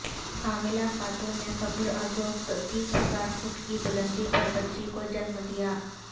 حاملہ خاتون نے قبل ازوقت تیس ہزار فٹ کی بلندی پر بچی کو جنم دیا